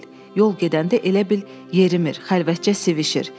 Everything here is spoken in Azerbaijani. Yol gedəndə elə bil yerimir, xəlvətcə sivişir.